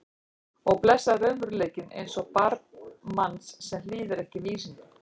Og blessaður raunveruleikinn eins og barn manns sem hlýðir ekki vísindum.